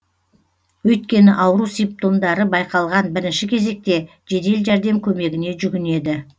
өйткені ауру симптомдары байқалған бірінші кезекте жедел жәрдем көмегіне жүгінеді